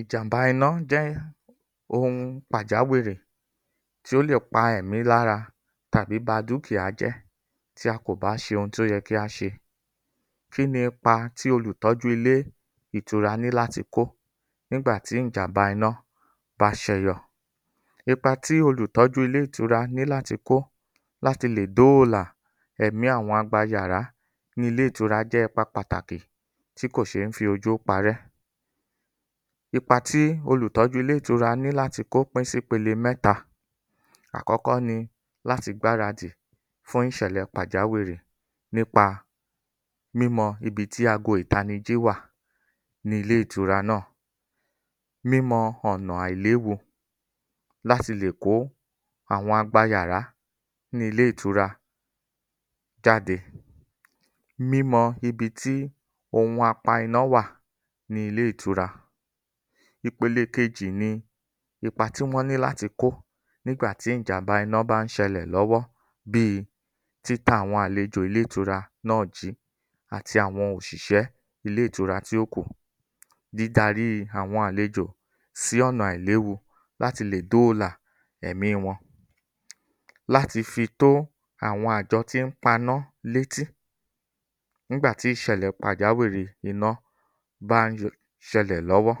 Ìjàm̀bá iná jẹ́ ohun pàjáwìrì tí ó lè pa ẹ̀mí lára tàbí ba dúkìá jẹ́ tí a kò bá ṣe ohun tí ó yẹ kí á ṣe. Kíni ipa tí olùtọ́jú ilé ìtura ní láti kó nígbà tí ìjàm̀bá iná bá ṣẹyọ? Ipa tí olùtọ́jú ilé ìtura ní láti kó láti lè dóòlà ẹ̀mí àwọn agbayàrá ní ilé ìtura jẹ́ ipa pàtàkì tí kò ṣèé fi ojú parẹ́. Ipa tí olùtọ́jú ilé ìtura ní láti kó pín sí ìpele mẹ́ta. Àkọ́kọ́ ni láti gbaradì fún ìṣẹ̀lẹ̀ pàjáwìrí nípa mímọ ibi tí ago ìtanijí wà ní ilé ìtura náà. Mímọ ọ̀nà àìléwu láti lè kó àwọn agbayàra ní ilé ìtura jáde. Mímọ ibi tí ohun apainá wà ní ilé ìtura. Ìpele kejì ní ipa tí wọ́n ní láti kó nígbà tí ìjàm̀bá iná bá ń ṣẹlẹ̀ lọ́wọ́ bíi títa àwọn àlejò ilé ìtura náà jìí àti àwọn òṣìṣẹ́ ilé ìtura tí ó kù. Dídaríi àwọn àlejò sí ọ̀nà àìléwu láti lè dóòlà ẹ̀mí wọn. Láti fi tó àwọn àjọ tí ń paná létí nígbà tí ìṣẹ̀lẹ̀ pàjáwìrì iná bá ń ṣẹlẹ̀ lọ́wọ́.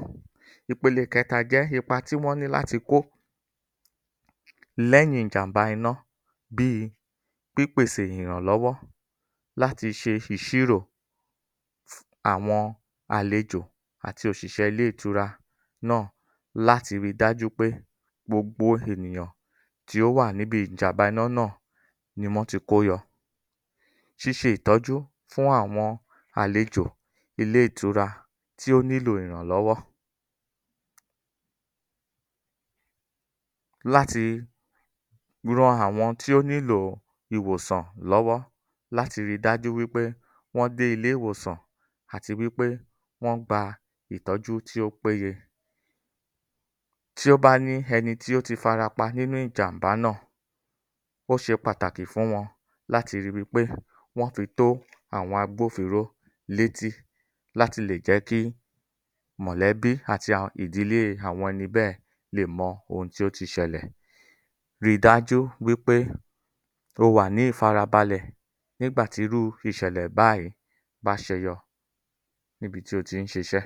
Ipele kẹta jẹ́ ipa tí wọ́n ní láti kó lẹ́yìn ìjàm̀bá iná bíi pípèsè ìrànlọ́wọ́ láti ṣe ìṣirò àwọn àlejò àti òṣìṣẹ́ ilé ìtura náà láti ri dájú pé gbogbo ènìyàn tí ó wà níbi ìjàm̀bá iná náà ni wọ́n ti kó yọ. Ṣíṣe ìtọ́jú fún àwọn àlejò ilé ìtura tí ó nílò ìrànlọ́wọ́ láti ran àwọn tí ó nílò ilé ìwòsàn lọ́wọ́ láti ri dájú wí pé wọ́n dé ilé ìwòsàn àti wí pé wọ́n gba ìtọ́jú tí ó péye. Tí ó bá ní ẹni tí ó ti farapa nínú ìjàm̀bà náà, ó ṣe pàtàkì fún wọn láti ri wípé wọ́n fi tó àwọn agbófinró létí láti lè jẹ́ kí mọ̀lẹ́bí àti àwọn ìdílé àwọn ẹni bẹ́ẹ̀ lè mọ ohun tí ó ti ṣẹlẹ̀. Ríi dájú wípé o wà ní ìfarabalẹ̀ nígbà tí irú ìṣẹ̀lẹ̀ báyìí bá ṣẹyọ níbi tí o ti ń ṣiṣẹ́.